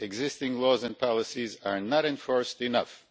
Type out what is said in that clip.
Existing laws and policies are not enforced enough.'